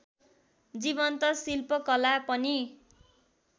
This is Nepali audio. जीवन्त शिल्पकला पनि